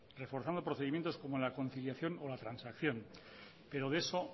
reforzando procedimientos como la conciliación o la transacción pero de eso